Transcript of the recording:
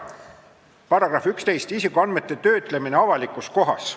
Paragrahv 11 "Isikuandmete töötlemine avalikus kohas".